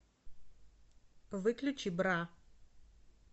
выключи бра